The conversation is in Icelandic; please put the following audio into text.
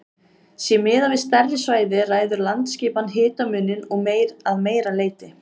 Sé miðað við stærri svæði ræður landaskipan hitamuninum að meira leyti.